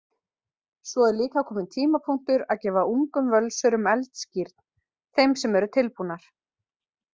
Svo er líka kominn tímapunktur að gefa ungum Völsurum eldskírn, þeim sem eru tilbúnar.